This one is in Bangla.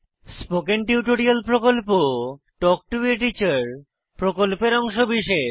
স্পোকেন টিউটোরিয়াল প্রকল্প তাল্ক টো a টিচার প্রকল্পের অংশবিশেষ